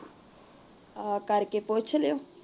ਆ ਕਰਕੇ ਪੁੱਛ ਲਿਓ।